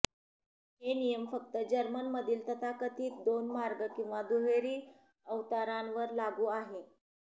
हे नियम फक्त जर्मनमधील तथाकथित दोन मार्ग किंवा दुहेरी अवतारणांवर लागू आहे